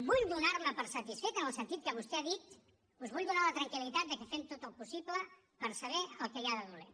vull donar me per satisfet en el sentit que vostè ha dit us vull donar la tranquil·litat que fem tot el possible per saber el que hi ha de dolent